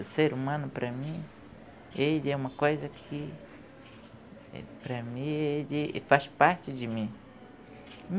O ser humano para mim, ele é uma coisa que para mim, ele faz parte de mim.